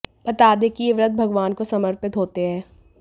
बता दें कि ये व्रत भगवान को समर्पित होते हैं